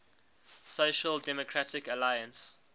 social democratic alliance